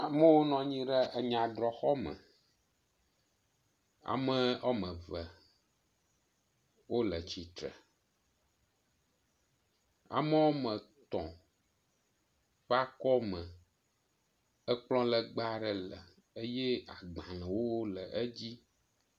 Amewo nɔ anyi ɖe enya drɔ xɔme. Amea woame eve le tsitre, amea woame etɔ̃ ƒe akɔme, ekplɔ legbe aɖe le eye agbalẽwo le edzi.